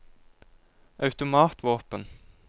automatvåpen